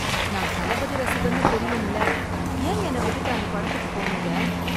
நான் தளபதி ரசிகன்னு தெரியும்ல, ஏன் என்ன விட்டுட்டு அந்த படத்துக்குப் போனீங்க?